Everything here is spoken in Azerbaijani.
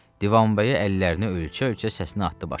Divanbəyi əllərini ölçə-ölçə səsini atdı başına.